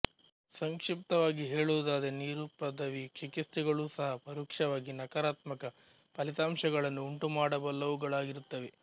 ಸಂಕ್ಷಿಪ್ತವಾಗಿ ಹೇಳುವುದಾದರೆ ನಿರುಪದ್ರವಿ ಚಿಕಿತ್ಸೆಗಳೂ ಸಹ ಪರೋಕ್ಷವಾಗಿ ನಕಾರಾತ್ಮಕ ಫಲಿತಾಂಶಗಳನ್ನು ಉಂಟುಮಾಡಬಲ್ಲವುಗಳಾಗಿರುತ್ತವೆ